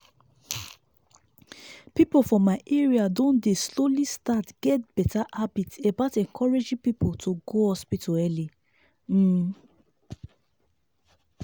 people for my area don dey slowly start get better habit about encouraging people to go hospital early. um